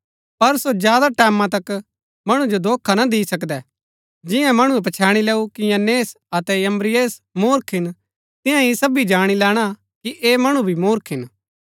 पर सो ज्यादा टैमैं तक मणु जो धोखा ना दी सकदै जिन्या मणुऐ पछैणी लैऊ कि यन्‍नेस अतै यम्‍ब्रेसे मुर्ख हिन तिन्या ही सबी जाणी लैणा कि ऐह मणु भी मुर्ख हिन